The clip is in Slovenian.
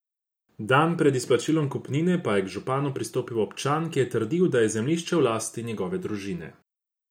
Dan pred izplačilom kupnine pa je k županu pristopil občan, ki je trdil, da je zemljišče v lasti njegove družine.